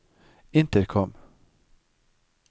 intercom